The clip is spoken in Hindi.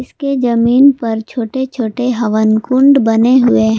इसके जमीन पर छोटे छोटे हवन कुंड बने हुए हैं।